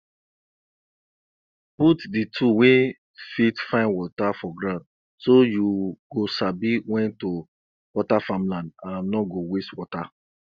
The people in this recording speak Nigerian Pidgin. put di tool wey fit find water for ground so you go sabi wen to water farm land and no go waste water